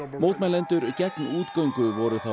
mótmælendur gegn útgöngu voru þá